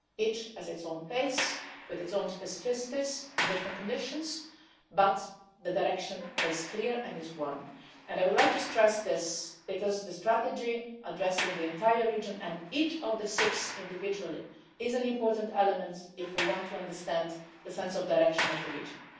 It has its own pace, with its own specificities and different conditions but the direction is clear, and it is one direction. I would like to stress this, because the strategy addressing the entire region and each of the six individual is an important element if we want to understand the sense of direction of the region.